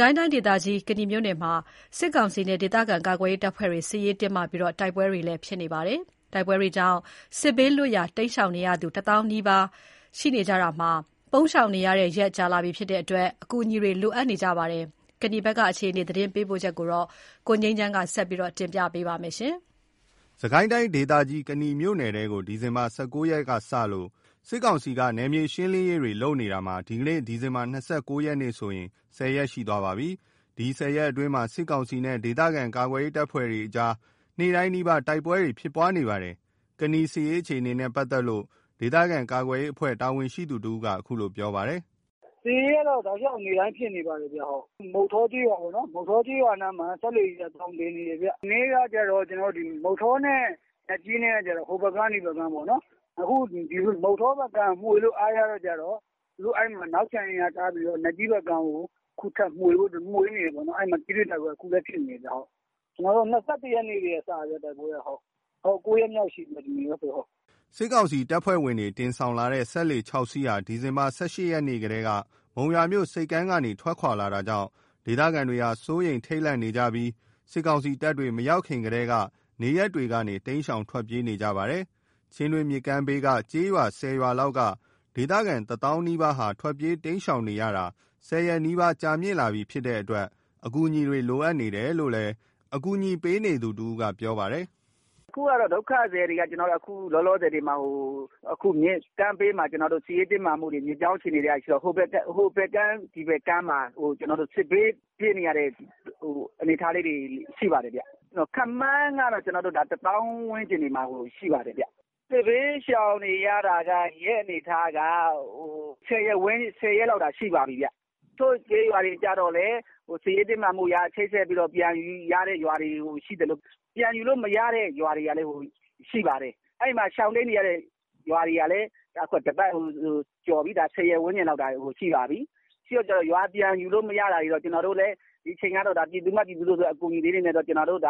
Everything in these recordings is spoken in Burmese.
ကိုင်းတိုင်းဒေသကြီး ကနီမြို့နယ်မှာ စစ်ကောင်စီနဲ့ ဒေသခံကာကွယ်ရေးတပ်ဖွဲ့တွေ စစ်ရေးတင်းမာပြီး တိုက်ပွဲတွေလည်းဖြစ်နေပါတယ်။ တိုက်ပွဲတွေကြောင့် စစ်ဘေးလွတ်ရာတိမ်းရှောင်နေရသူ ၁ သောင်းနီးပါးရှိနေပြီး ပုန်းရှောင်နေရတဲ့ရက်ကြာလာပြီဖြစ်တဲ့အတွက် အကူအညီတွေလိုအပ်နေကြပါတယ်။ ကနီဒေသဘက်က အခြေအနေသတင်းပေးပို့ချက်ကို ကိုငြိမ်းချမ်းက တင်ပြပေးထားပါတယ်။ စစ်ကိုင်းတိုင်းဒေသကြီး ကနီမြို့နယ်ထဲကို ဒီဇင်ဘာ ၁၉ ရက်ကစလို့ စစ်ကောင်စီက နယ်မြေရှင်းလင်းနေတာ ဒီကနေ့ ဒီဇင်ဘာ ၂၉ ရက်ဆိုရင် ၁၀ ရက်ရှိသွားပါပြီ။ အဲ့ဒီ ၁၀ ရက်အတွင်း စစ်ကောင်စီနဲ့ ဒေသခံကာကွယ်ရေး တပ်ဖွဲ့တွေ နေ့တိုင်းနီးပါး တိုက်ပွဲတွေ ဖြစ်နေပါတယ်။ ကနီစစ်ရေးအခြေအနေနဲ့ ပတ်သက်လို့ ဒေသခံကာကွယ်ရေးအဖွဲ့ တာဝန်ရှိသူတဦးက အခုလိုပြောပြပါတယ်။ “စစ်ရေးကတော့ တောက်လျှောက်နေ့တိုင်းဖြစ်နေပါတယ်။ မုဌောကျေးရွာနားမှာ စက်လှေတွေက သောင် တင်နေတယ်ခင်ဗျ။ ဒီနေ့က မုဌောနဲ့ နတ်ကြီးနဲ့က ဟိုဘက်ကမ်းဒီဘက်ကမ်းပေါ့နော်။ အခု မုဌောဘက် ကမ်းမှာ မွှေလို့အားရတော့ သူတို့အဲ့မှာ နောက်ချန်အင်အားထားပြီးတော့ နတ်ကြီး(ကျေးရွာ) ဘက်ကမ်းကို အခုထပ်မွှေနေတယ်ပေါ့နော်။ အဲ့မှာ ထိတွေ့တိုက်ပွဲ အခုလည်းဖြစ်နေတယ်ခင်ဗျ။ တိုက်ပွဲက ၂၁ ရက်နေ့ကတည်းက ၉ ရက်မြောက်ရှိပြီ။ ဒီနေ့ကောဆိုရင်။” စစ်ကောင်စီတပ်ဖွဲ့ဝင်တွေ တင်ဆောင်လာတဲ့ စက်လှေ ၆ စီးဟာ ဒီဇင်ဘာလ ၁၈ ရက်ကတည်းက မုံရွာမြို့ဆိပ်ကမ်းကနေ ထွက်ခွာလာတာကြောင့် ဒေသခံတွေဟာ စိုးရိမ်ထိတ်လန့်ပြီး စစ်ကောင်စီတပ်တွေ မရောက်ခင်ကတည်းက နေရပ်တွေကနေ တိမ်းရှောင်ထွက်ပြေးနေကြပါတယ်။ ချင်းတွင်းမြစ်ကမ်းဘေးက ကျေးရွာ ၁၀ ရွာလောက်က ဒေသခံ ၁ သောင်းနီးပါးဟာ ထွက်ပြေးတိမ်းရှောင် ရတာ ၁၀ ရက်နီးပါး ကြာမြင့်လာပြီဖြစ်တဲ့အတွက် အကူအညီတွေ လိုအပ်နေတယ်လို့ အကူအညီပေးနေသူတဦးက ပြောပါတယ်။ “အခုဒုက္ခသည်တွေက လောလောဆယ် မြစ်ဘေးမှာ။ စစ်ရေးတင်းမာမှုတွေ၊ မြစ်ကြောင်းအခြေအနေတွေက ရှိတော့ ဟိုဘက်ကမ်း ဒီဘက်ကမ်းမှာ စစ်ဘေးပြေးနေရတဲ့အနေအထားလေးတွေ ရှိနေပါတယ်။ ခန့်မှန်းကတော့ ၁ သောင်းဝန်းကျင်မှာ ရှိပါတယ်။ စစ်ဘေးရှောင်နေရတာ ရက်အနေအထားက ၁၀ ရက်လောက်ရှိပါပြီ။ တချို့ကျေးရွာတွေက စစ်ရေးတင်းမာမှုအရ ချိတ်ဆက်ပြီး ပြန်ယူရတဲ့ ရွာတွေရှိသလို ပြန်ယူလို့ မရတဲ့ရွာတွေကလည်း ရှိပါတယ်။ အဲ့မှာရှောင်တိမ်းနေရတဲ့ ရွာတွေကလည်း တပတ်ကျော်ပြီ။ ၁၀ ရက်ဝန်းကျင် ရှိပါပြီ။ ရွာပြန်ယူလို့မရတဲ့ဟာတွေက ဒီအချိန်က ပြည်သူက ပြည်သူသို့ပဲ အကူအညီလေးတွေနဲ့ပဲ တတ်နိုင်သလောက်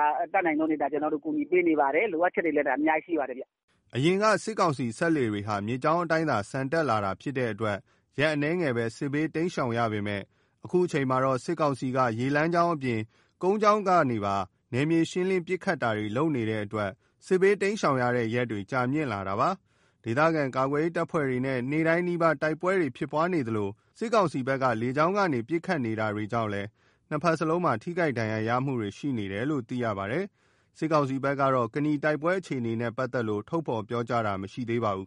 ကူညီပေးနေပါတယ်။ လိုအပ်ချက်တွေလည်း အများကြီးရှိနေတယ်။” အရင်က စစ်ကောင်စီစက်လှေတွေဟာ မြစ်ကြောင်းအတိုင်းသာ ဆန်တက်လာတာဖြစ်တဲ့အတွက် ရက်အနည်းငယ်ပဲ စစ်ဘေးတိမ်းရှောင်ရပေမဲ့ အခုအခါမှာတော့ စစ်ကောင်စီက ရေကြောင်းအပြင် ကုန်းကြောင်းကပါ နယ်မြေရှင်းလင်း ပစ်ခတ်နေတဲ့အတွက် စစ်ဘေးဘေးတိမ်းရှောင်နေရတဲ့ ရက်ကြာမြင့်လာတာပါ။ ဒေသခံကာကွယ်ရေးတပ်ဖွဲ့တွေနဲ့ နေ့တိုင်းနီးပါး တိုက်ပွဲတွေဖြစ်နေသလို စစ်ကောင်စီက လေကြောင်းကနေ ပစ်ခတ်တာတွေကြောင့်လည်း နှစ်ဘက်လုံးမှာ ထိခိုက်ဒဏ်ရာရမှုရှိနေတယ်လို့သိရပါတယ်။ စစ်ကောင်စီဘက်ကတော့ ကနီတိုက်ပွဲတွေနဲ့ပတ်သက်လို့ ထုတ်ဖော်ပြောဆိုတာမရှိသေးပါဘူး